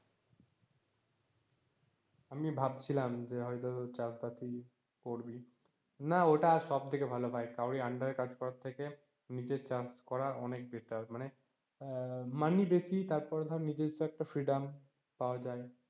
আমি ভাবছিলাম যে হয়তো চাষবাসই করবি, না ওটা সব থেকে ভালো ভাই কারোর ওই under এ কাজ করার থেকে নিজের চাষ করা অনেক better মানে মাইনে বেশি তারপরে ধোর নিজেরস্ব একটা freedom পাওয়া যায়।